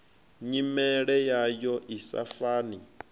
nyimele yayo i sa fani